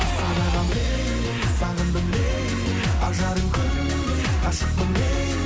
сағындым лейли ажарым күндей ғашықпын лейли